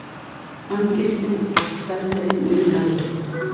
Angistin var stærri en unaðurinn.